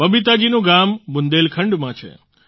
બબીતા જીનું ગામ બુંદેલખંડમાં છે